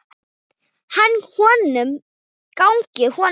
Gangi honum vel!